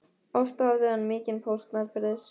Oft hafði hann mikinn póst meðferðis.